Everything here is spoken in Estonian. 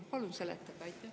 Palun seletage!